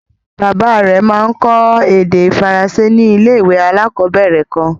Bàbá rẹ̀ máa ń kọ́ èdè Faransé ní ilé-ìwé alákọ̀ọ̀bẹ̀rẹ̀ kan.